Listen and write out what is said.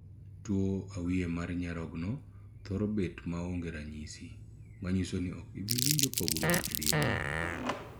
Tuo awiye mar nyarogno thoro bet ma onge ranyisi, manyiso ni ok ibi winjo pogruok e dendi.